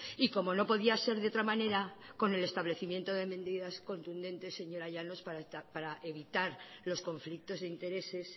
y como no podía ser de otra manera con el establecimiento de medidas contundentes señora llanos para evitar los conflictos de intereses